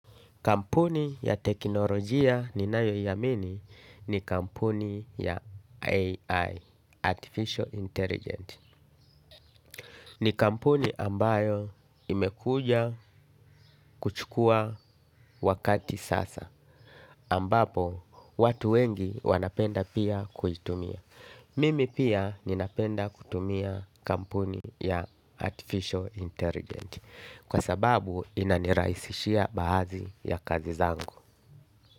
Kampuni ya teknolojia ninayo iamini ni kampuni ya AI, Artificial Intelligence. Ni kampuni ambayo imekuja kuchukua wakati sasa. Ambapo, watu wengi wanapenda pia kuitumia. Mimi pia ninapenda kutumia kampuni ya Artificial Intelligence. Kwa sababu, inanirahisishia baadhi ya kazi zangu.